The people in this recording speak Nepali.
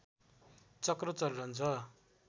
चक्र चलिरहन्छ